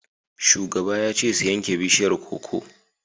Shugaba ya ce su yanke bishiyar koko!